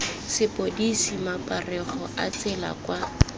sepodisi maparego a tsela kwa